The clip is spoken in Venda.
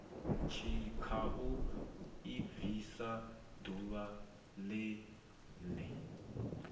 tshikhau i bviswa ḓuvha ḽene